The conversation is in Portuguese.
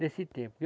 Nesse tempo.